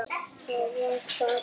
Þá var það búið.